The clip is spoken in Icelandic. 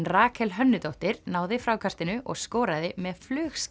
Rakel náði frákastinu og skoraði með